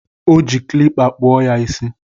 Ọ ji kilipa kpọọ ya isi